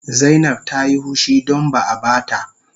Zainab Ta Yi hushi don ba a ba ta